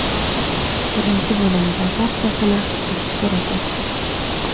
Birinchi bo‘limda barchasini hal qilish kerak edi.